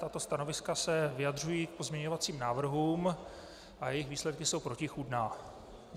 Tato stanoviska se vyjadřují k pozměňovacím návrhům a jejich výsledky jsou protichůdné.